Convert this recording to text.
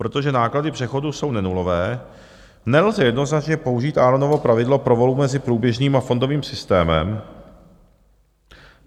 Protože náklady přechodu jsou nenulové, nelze jednoznačně použít Aaronovo pravidlo pro volbu mezi průběžným a fondovým systémem.